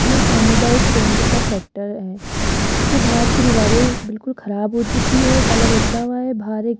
ये सामुदायिक केंद्र का सेक्टर है इसके बाहर की दीवारें बिल्कुल खराब हो चुकी हैं कलर उतरा हुआ है बाहर एक --